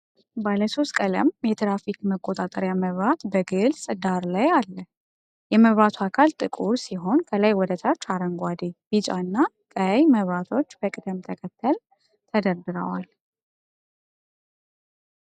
ባለሶስት ቀለም የትራፊክ መቆጣጠሪያ መብራት በግልጽ ዳራ ላይ አለ። የመብራቱ አካል ጥቁር ሲሆን፣ ከላይ ወደ ታች አረንጓዴ፣ ቢጫና ቀይ መብራቶች በቅደም ተከተል ተደርድረዋል።